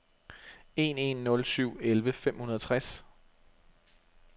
en en nul syv elleve fem hundrede og tres